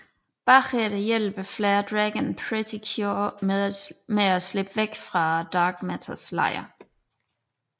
Bagefter hjælper Flare Dragon Pretty Cure med at slippe væk fra Dark Matters lejr